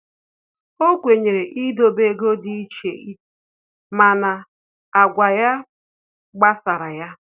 O kwenyere idobe ego dị iche mana agwa ya gbasara ya